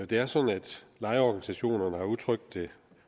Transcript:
det er sådan at lejerorganisationerne har udtrykt